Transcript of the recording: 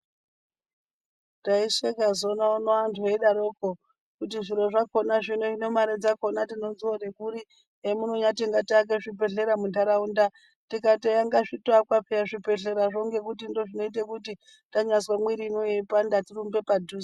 Taishekanzona uno antu aidaroko kuti zviro zvakona hino mare dzakona tinodziwane kuri hemunonyati ngatiake zvibhedhlera mundaraunda .Tikati eya piyani ngazvitoakwa zvibhedhlerazvo ngekuti ndozvinoita kuti tanyazwa mwiriyo yaipanda tirumbe padhuze.